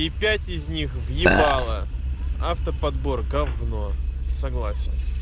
и пять из них въебала автоподбор говно согласен